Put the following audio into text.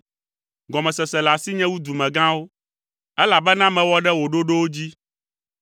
Gɔmesese le asinye wu dumegãwo, elabena mewɔ ɖe wò ɖoɖowo dzi.